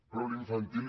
però l’infantil